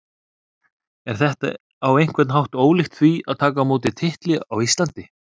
Er þetta á einhvern hátt ólíkt því en að taka á móti titli á Íslandi?